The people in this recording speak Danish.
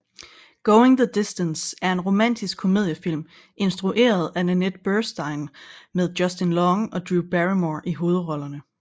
Going the Distance er en romantisk komediefilm instrueret af Nanette Burstein og med Justin Long og Drew Barrymore i hovedrollerne